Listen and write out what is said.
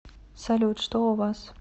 салют что у вас